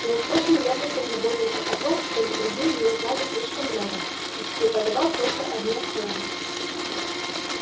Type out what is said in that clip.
и он очень ревностно заботился о том чтобы другие не узнали слишком много и преподавал только одни основы